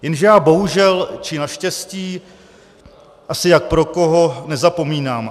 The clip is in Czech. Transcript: Jenže já bohužel, či naštěstí, asi jak pro koho, nezapomínám.